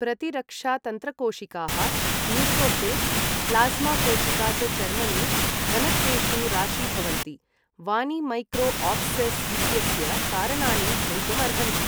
प्रतिरक्षातन्त्रकोशिकाः, neutrophils, plasma कोशिका च चर्मणि, घनत्वेषु राशीभवन्ति, वानि मैक्रो आब्सेस् इत्यस्य कारणानि भवितुम् अर्हन्ति।